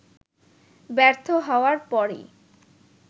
ব্যর্থ হওয়ার পরই